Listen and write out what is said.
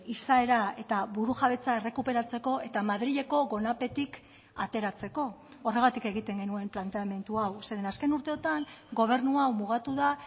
izaera eta burujabetza errekuperatzeko eta madrileko gonapetik ateratzeko horregatik egiten genuen planteamendu hau zeren azken urteotan gobernu hau mugatu da